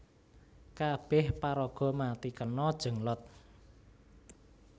Kabeh paraga mati kena Jenglot